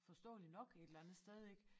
Forståeligt nok et eller andet sted ik